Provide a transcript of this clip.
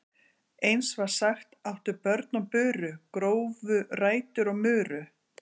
Eins var sagt: Áttu börn og buru, grófu rætur og muru.